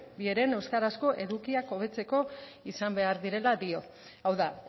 bi heren euskarazko edukiak hobetzeko izan behar direla dio hau da